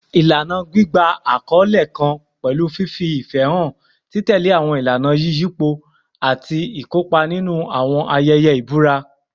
Ilana gbigba akọle kan pẹlu fifi ifẹ han, titẹle awọn ilana iyipo, ati ikopa ninu awọn ayẹyẹ ibura